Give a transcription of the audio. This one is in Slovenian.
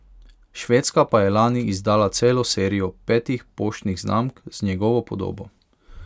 Švedska pa je lani izdala celo serijo petih poštnih znamk z njegovo podobo.